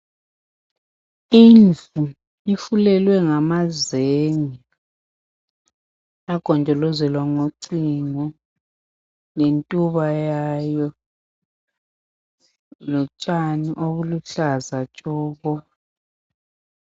Indlu ifulelwe ngamazenge yagonjolozwelwa ngocingo lentuba yayo , lotshani obuluhlaza tshoko